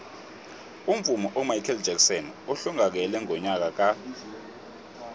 umvumi umichael jackson uhlongakele ngonyaka ka